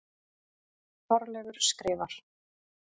Þorleifur skrifar: